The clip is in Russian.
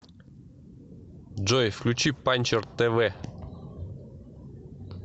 джой включи панчер тэ вэ